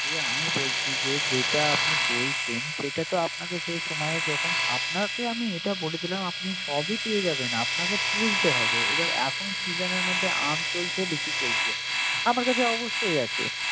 যে আমি বলছি, যেটা আপনি বলছেন। সেটাকে তো আপনার যে সময়ে যখন আপনাকে আমি এটা বলছিলাম আপনি সবই পেয়ে যাবেন। আপনাকে তুলতে হবে, এবার এখন season এর মধ্যে আম চলছে, লিচু চলছে। আমার কাছে অবশ্যই আছে।